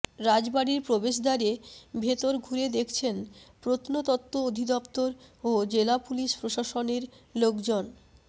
রাজবাড়ির প্রবেশদ্বারে ভেতর ঘুরে দেখছেন প্রত্নতত্ত্ব অধিদপ্তর ও জেলা পুলিশ প্রশাসনের লোকজন